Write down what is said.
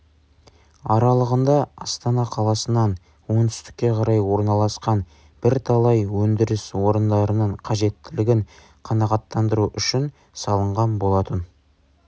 аралығында астана қаласынан оңтүстікке қарай орналасқан бірталай өндіріс орындарының қажеттілігін қанағаттандыру үшін салынған болатын